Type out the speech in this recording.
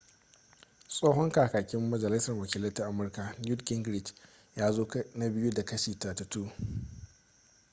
tsohon kakakin majalisar wakilai ta amurka newt gingrich ya zo na biyu da kashi 32